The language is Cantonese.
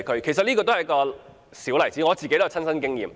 這是一個小例子，而我也有親身經驗。